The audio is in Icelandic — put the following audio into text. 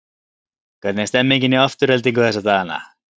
Hvernig er stemningin hjá Aftureldingu þessa dagana?